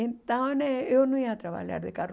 Então né, eu não ia trabalhar de carro.